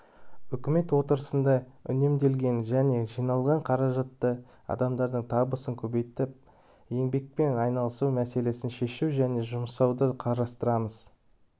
үкімет отырысында үнемделген және жиналған қаражатты адамдардың табысын көбейтіп еңбекпен айналысу мәселесін шешу үшін жұмсауды қарастырамыз